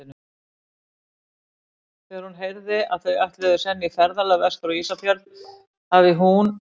Þegar hún heyrði, að þau ætluðu senn í ferðalag vestur á Ísafjörð, hafi hún og